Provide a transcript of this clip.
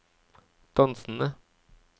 dansende